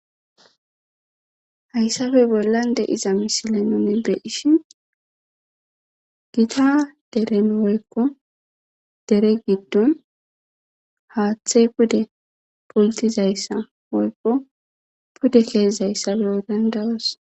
Haysape bolan diza missile nuni be'ishin gita dereni woyko dere gidon hathay pude pultizaysa woyko pude ke'zaysa be'ana danda'os.